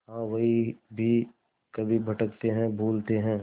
हाँ वह भी कभी भटकते हैं भूलते हैं